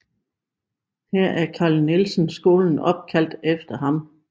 Her er Carl Nielsen Skolen opkaldt efter ham